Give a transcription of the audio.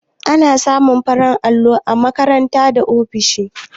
Ana samun farin allo a makarant da ofisoshi.